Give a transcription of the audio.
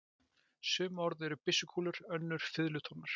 Sum orð eru byssukúlur, önnur fiðlutónar.